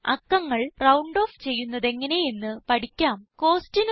ഇപ്പോൾ അക്കങ്ങൾ round off ചെയ്യുന്നതെങ്ങനെ എന്ന് പഠിക്കാം